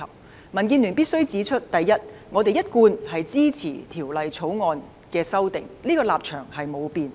民主建港協進聯盟必須指出：第一，我們一貫支持《條例草案》的立場不變。